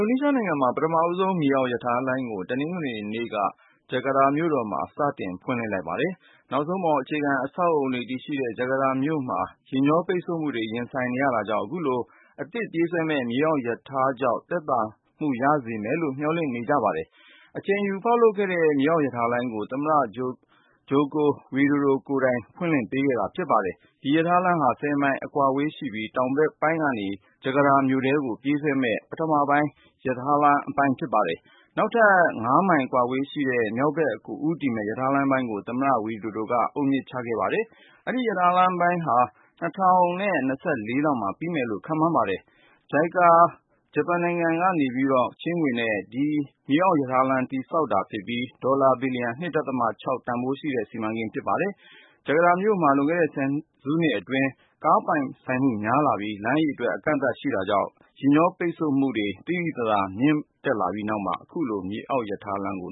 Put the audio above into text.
ိုနီးရှားနိုင်ငံမှာ ပထမဆုံး မြေအောက်ရထားလိုင်းကို တနင်္ဂနွေနေ့က ဂျကာတာမြို့တော်မှာ စတင်ဖွင့်လှစ်လိုက်ပါတယ်။ နောက်ဆုံးပေါ် အခြေခံ အဆောက်အဦးတွေ တည်ရှိတဲ့ ဂျကာတာမြို့မှာ ယာဉ်ကြောပိတ်ဆို့မှုတွေ ရင်ဆိုင်နေရတာကြောင့် အခု အသစ်ပြေးဆွဲမယ့် မြေအောက်ရထားကြောင့် သက်သာရစေမယ်လို့ မျှော်လင့်ထားကြပါတယ်။ အချိန်ယူ ဖောက်လုပ်ခဲ့ရတဲ့ မြေအောက်ရထားလိုင်းကို သမ္မတ Joko Widodo ကိုယ်တိုင် ဖွင့်လှစ်ပေးခဲ့ပါတယ်။ ဒီရထားလမ်းဟာ ၁၀ မိုင် အကွာဝေးရှိပြီး တောင်ဘက်ပိုင်းကနေ ဂျကာတာမြို့ထဲထိ ပြေးဆွဲမယ့် ပထမအပိုင်း ရထားလမ်းဖြစ်ပါတယ်။ နောက်ထပ် ၅ မိုင် ကွာဝေးပြီး မြောက်ဘက်ကိုဦးတည်တဲ့ ရထားလမ်းပိုင်းကိုလည်း သမ္မတ Joko Widodo က အုပ်မြစ်ချပေးခဲ့ပါတယ်။ အဲဒီ ရထားလမ်းပိုင်းဟာ ၂၀၂၄လောက်မှာ ပြီးမယ်လို့ ခန့်မှန်းထားပါတယ်။ ဂျပန်နိုင်ငံတကာ ပူးပေါင်းဆောင်ရွက်ရေး အေဂျင်စီ JICA ဆီက ချေးငွေနဲ့ ဒီမြေအောက် ရထားလိုင်း တည်ဆောက်တာဖြစ်ပြီး ဒေါ်လာဘီလျံ(၂.၆) တန်ဖိုးရှိတဲ့ စီမံကိန်းဖြစ်ပါတယ်။ ဂျကာတာမြို့မှာ လွန်ခဲ့တဲ့ ဆယ်စုနှစ်အတွင်း ကားပိုင်ဆိုင်သူ များလာပြီး၊ လမ်းအရေအတွက် အကန့်အသတ်ဖြစ်နေတာကြောင့် ယာဉ်ကြောပိတ်ဆို့မှု သိသိသာသာ မြင့်တက်လာပြီးနောက်မှာ အခုလို မြေအောက်ရထားလမ်းကို